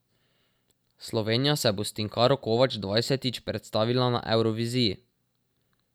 Slovenija se bo s Tinkaro Kovač dvajsetič predstavila na Evroviziji.